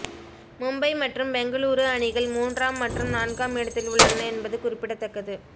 மும்பை மற்றும் பெங்களூரு அணிகள் மூன்றாம் மற்றும் நான்காம் இடத்தில் உள்ளன என்பது குறிப்பிடத்தக்கது